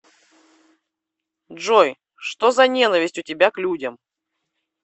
джой что за ненависть у тебя к людям